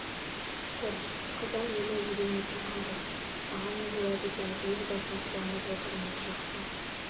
тұр қазақ елі елең ете қалды аға не болады екен өз басым қуанып отырмын жақсы